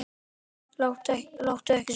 Láttu ekki svona!